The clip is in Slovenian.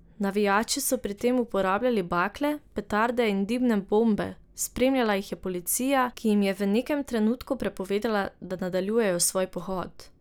Navijači so pri tem uporabljali bakle, petarde in dimne bombe, spremljala jih je policija, ki jim je v nekem trenutku prepovedala, da nadaljujejo svoj pohod.